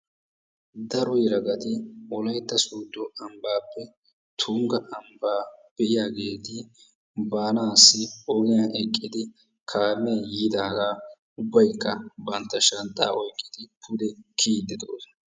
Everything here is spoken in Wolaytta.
Daro yelagati wolaytta soodo ambbaappe tunggaa biyaageti baanaassi ogiyaan eqqidi kaamee yiidaaga ubbaykka bantta shanxxaa oyqqidi pude kiyiidi de"oosona.